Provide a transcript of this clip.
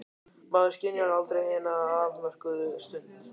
Maður skynjar aldrei hina afmörkuðu stund.